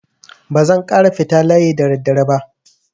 Ba zan ƙara fita layi da daddare ba.